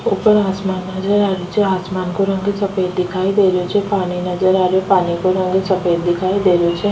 ऊपर आसमान नजर आ रो छे आसमान को रंग सफ़ेद दिखाई दे रो छे निचे पानी नजर आरो पानी को रंग सफ़ेद दिखाई दे रो छे।